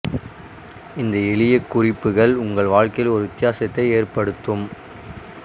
இந்த எளிய குறிப்புகள் உங்கள் வாழ்க்கையில் ஒரு வித்தியாசத்தை ஏற்படுத்தும்